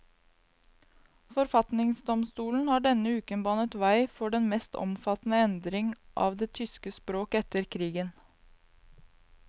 Forfatningsdomstolen har denne uken banet vei for den mest omfattende endring av det tyske språk etter krigen.